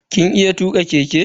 Kin iya tuka keke?